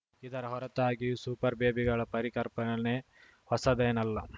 ಇದರ ಹೊರತಾಗಿಯೂ ಸೂಪರ್‌ಬೇಬಿಗಳ ಪರಿಕರ್ಪನೆ ಹೊಸದೇನಲ್ಲ